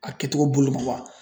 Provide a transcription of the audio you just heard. A kɛcogo bolo ma wa?